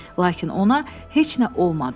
Lakin ona heç nə olmadı.